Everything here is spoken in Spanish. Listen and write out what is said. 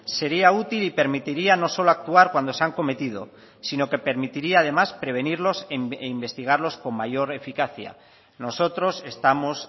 sería útil y permitiría no solo actuar cuando se han cometido sino que permitiría además prevenirlos e investigarlos con mayor eficacia nosotros estamos